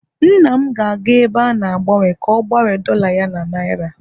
nna m ga-aga ebe a na-agbanwe ka o gbanwe dolla ya na naira